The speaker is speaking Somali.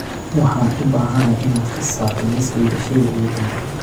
Waxaan u baahanahay inaad ka saarto liiskayga shayga ugu dambeeya